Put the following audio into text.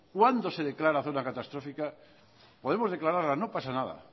cuándo se declara zona catastrófica podemos declararla no pasa nada